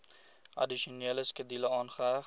addisionele skedule aangeheg